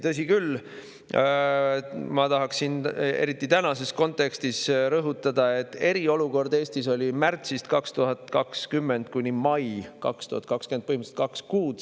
Tõsi küll, ma tahaksin eriti tänases kontekstis rõhutada, et eriolukord oli Eestis märtsist 2020 maini 2020, põhimõtteliselt kaks kuud.